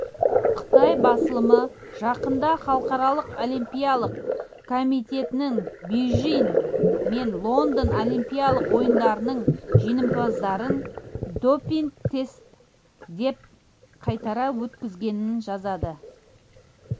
қытай басылымы жақында халықаралық олимпиялық комитеттің бейжің мен лондон олимпиялық ойындарының жеңімпаздарын допинг-тестіден қайтара өткізгенін жазады